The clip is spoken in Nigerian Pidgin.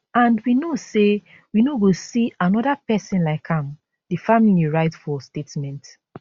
and we know say we no go see anoda pesin like am di family write for statement